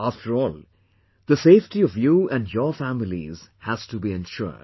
After all, the safety of you and your families has to be ensured